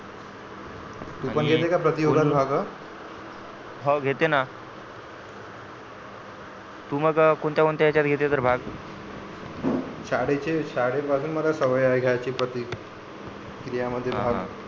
तू पण घेते का प्रतियोगात भाग हाव घेते ना तू मग अ कोणत्या कोणत्या येच्यात घेते तर भाग शाळेचे शाळेपासून मला सवय आहे घ्यायची प्रतिक्रिया मध्ये भाग